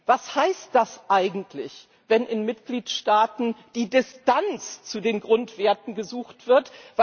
Was heißt das eigentlich, wenn in Mitgliedstaaten die Distanz zu den Grundwerten gesucht wird?